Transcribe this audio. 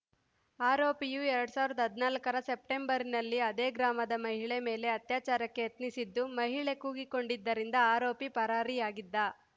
ಆರೋಪಿಯು ಎರಡ್ ಸಾವಿರದ ಹದಿನಾಲ್ಕರ ಸೆಪ್ಟಂಬರ್‌ನಲ್ಲಿ ಅದೇ ಗ್ರಾಮದ ಮಹಿಳೆ ಮೇಲೆ ಅತ್ಯಾಚಾರಕ್ಕೆ ಯತ್ನಿಸಿದ್ದು ಮಹಿಳೆ ಕೂಗಿಕೊಂಡಿದ್ದರಿಂದ ಆರೋಪಿ ಪರಾರಿಯಾಗಿದ್ದ